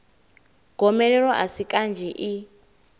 gomelelo a si kanzhi i